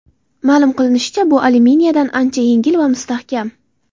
Ma’lum qilinishicha, bu alyuminiyadan ancha yengil va mustahkam.